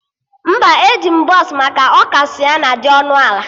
Mba, eji m bọsụ maka ọ ka Sịenna dị ọnụ ala